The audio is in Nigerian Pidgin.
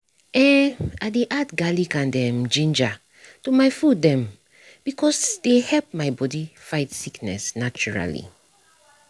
eh i dey add garlic and um ginger to my food dem um cause dey help my body fight sickness naturally.